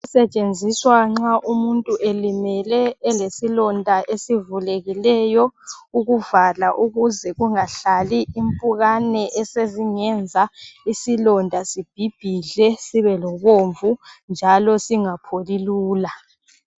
Isetshenziswa nxa umuntu elimele elesilonda esivulekileyo, ukuvala ukuze kungahlali impukane esezingenza isilonda sibhibhidle sibe lobomvu njalo singapholi lula.